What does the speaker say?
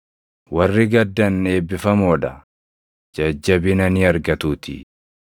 Warri gaddan eebbifamoo dha; jajjabina ni argatuutii.